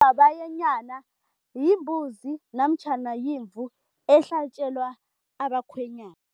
yimbuzi namtjhana yimvu ehlatjelwa abakhwenyana.